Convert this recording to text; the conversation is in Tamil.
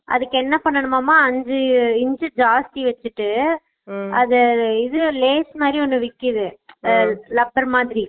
அதுக்கு என்ன பன்னனுமாம்மா அஞ்சு இன்ச் ஜாஸ்தி வெச்சிட்டு silent உம் அத இது lays மாதிரி ஒன்னு விக்கித்து rubber மாதிரி